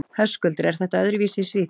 Höskuldur: Er þetta öðruvísi í Svíþjóð?